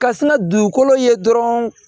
Ka sina dugukolo ye dɔrɔn